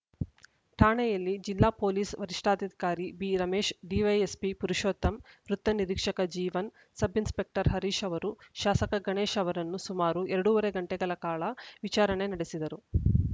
ಠಾಣೆಯಲ್ಲಿ ಜಿಲ್ಲಾ ಪೊಲೀಸ್‌ ವರಿಷ್ಠಾಧಿಕಾರಿ ಬಿರಮೇಶ್‌ ಡಿವೈಎಸ್ಪಿ ಪುರುಷೋತ್ತಮ್‌ ವೃತ್ತ ನಿರೀಕ್ಷಕ ಜೀವನ್‌ ಸಬ್‌ ಇನ್ಸ್‌ಪೆಕ್ಟರ್‌ ಹರೀಶ್‌ ಅವರು ಶಾಸಕ ಗಣೇಶ್‌ ಅವರನ್ನು ಸುಮಾರು ಎರಡೂವರೆ ಗಂಟೆಗಳ ಕಾಲ ವಿಚಾರಣೆ ನಡೆಸಿದರು